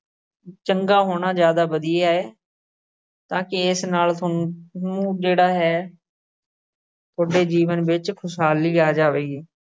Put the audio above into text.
ਚੰਗਾ ਹੋਣਾ ਜਿਆਦਾ ਵਧੀਆ ਏ ਤਾਂ ਕਿ ਇਸ ਨਾਲ ਥੋਨੂੰ ਨੂੰ ਜਿਹੜਾ ਹੈ ਥੋਡੇ ਜੀਵਨ ਵਿੱਚ ਖੁਸ਼ਹਾਲੀ ਆ ਜਾਵੇਗੀ।